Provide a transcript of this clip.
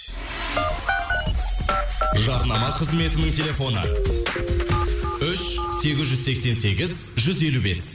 жарнама қызметінің телефоны үш сегіз жүз сексен сегіз жүз елу бес